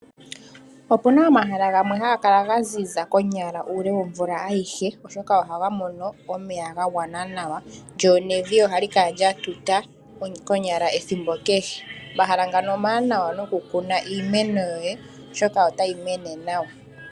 Opuna omahala gamwe haga kala ga zi za konyala uule womvula ayihe oshoka ohaga mono omeya ga gwana nawa lyonevi ohali kala lyatuta konyala ethimbo kehe. Omahala ngano omawanawa nokukuna iimeno yoye oshoka otayi mene nawa.